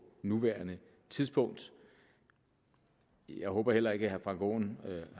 nuværende tidspunkt jeg håber heller ikke at herre frank aaen